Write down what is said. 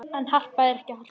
En er Harpa ekki Harpa?